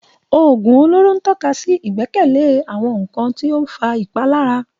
Òògùn olóró ń tọ́ka sí ìgbẹ́kẹ̀lé àwọn nkan tí ó ń fa ìpalára.